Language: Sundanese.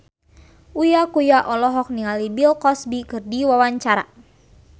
Uya Kuya olohok ningali Bill Cosby keur diwawancara